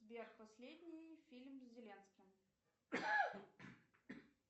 сбер последний фильм с зеленским